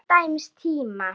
Til dæmis tíma.